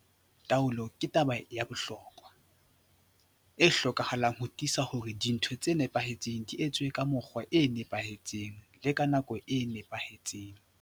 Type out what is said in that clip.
Taolo ke taba ya bohlokwa, e hlokahalang ho tiisa hore dintho tse nepahetseng di etswa ka mokgwa o nepahetseng le ka nako e nepahetseng.